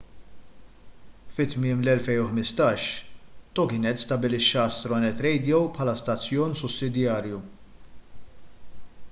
fi tmiem l-2015 toginet stabbilixxa astronet radio bħala stazzjon sussidjarju